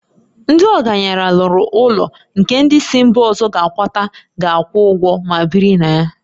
Ndị ọgaranya lụrụ ụlọ nke ndị si mba ọzọ a kwata ga akwụ ụgwọ ma biri na ya